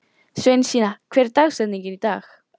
Sveinsína, hver er dagsetningin í dag?